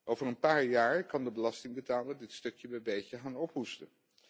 Over een paar jaar kan de belastingbetaler dit stukje bij beetje gaan ophoesten.